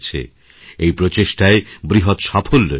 এইপ্রচেষ্টায় বৃহৎ সাফল্য এসেছে